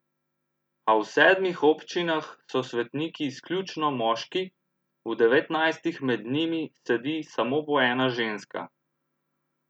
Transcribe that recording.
A v sedmih občinah so svetniki izključno moški, v devetnajstih med njimi sedi samo po ena ženska.